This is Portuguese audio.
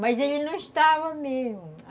Mas ele não estava mesmo.